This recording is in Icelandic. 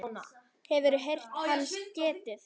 Hefurðu heyrt hans getið?